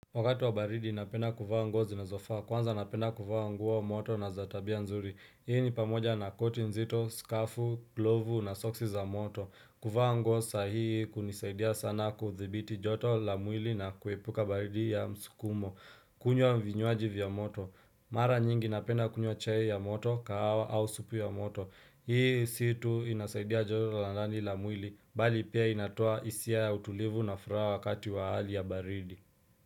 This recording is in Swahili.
Wakati wa baridi napenda kuvaa nguo zinazofaa kwanza napenda kuvaa nguo moto na za tabia nzuri Hii ni pamoja na koti nzito, skafu, glovu na soksi za moto kuvaa nguo sahii hunisaidia sana kuthibiti joto la mwili na kuepuka baridi ya msukumo kunywa vinywaji vya moto Mara nyingi napenda kunywa chai ya moto, kahawa au supu ya moto Hii si tu inasaidia joto la ndani la mwili Bali pia inatoa isia ya utulivu na furaha wakati wa hali ya baridi.